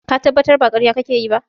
Ka tabbata ba ƙarya kake yi ba?